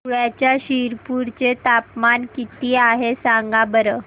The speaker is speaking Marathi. धुळ्याच्या शिरपूर चे तापमान किता आहे सांगा बरं